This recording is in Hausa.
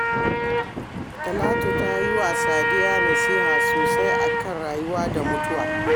Talatu ta yi wa Sadiya nasiha sosai a kan rayuwa da mutuwa